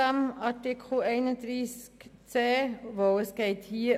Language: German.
Ich möchte die Streichung dieses Artikels 31c (neu).